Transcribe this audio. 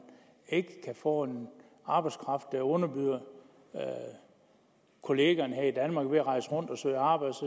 ikke kan få en arbejdskraft der underbyder kollegaerne her i danmark ved at rejse rundt og søge arbejde